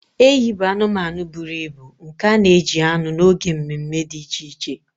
Ehi bụ anụmanụ buru ibu nke a na-eji anụ n'oge mme mme dị iche iche